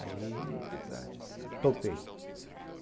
Aí topei.